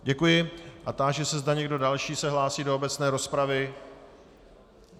Děkuji a táži se, zda někdo další se hlásí do obecné rozpravy.